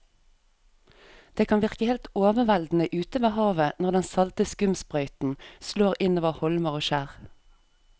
Det kan virke helt overveldende ute ved havet når den salte skumsprøyten slår innover holmer og skjær.